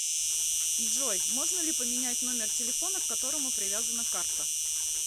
джой можно ли поменять номер телефона к которому привязана карта